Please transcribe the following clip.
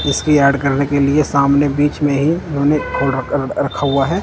इसकी याड करने के लिए सामने बीच में ही उन्होंने रखा हुआ है।